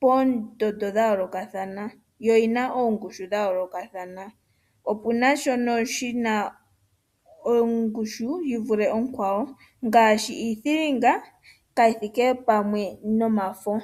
poondondo dhayoolokathana, yo yina oongushu dhayoolokathana. Opuna shimwe shina ongushu yi vule onkwawo ngaashi iithilinga kayi thike pamwe nomafo.